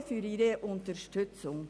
Danke für Ihre Unterstützung.